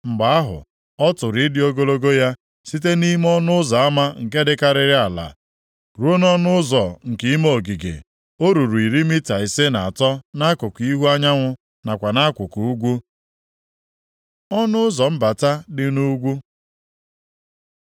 Mgbe ahụ, ọ tụrụ ịdị ogologo ya, site nʼime ọnụ ụzọ ama nke dịkarịrị ala ruo nʼọnụ ụzọ nke ime ogige, o ruru iri mita ise na atọ nʼakụkụ ihu anyanwụ nakwa nʼakụkụ ugwu. Ọnụ ụzọ mbata dị nʼugwu